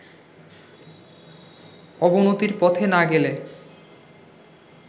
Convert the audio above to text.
অবনতির পথে না গেলে